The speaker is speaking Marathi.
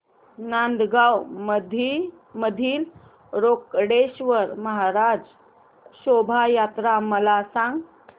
नांदगाव मधील रोकडेश्वर महाराज शोभा यात्रा मला सांग